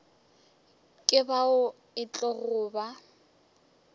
ke bao e tlogo ba